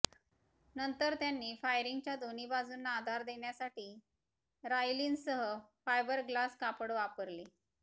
नंतर त्यांनी फायरिंगच्या दोन्ही बाजूंना आधार देण्यासाठी राईनलसह फायबरग्लास कापड वापरले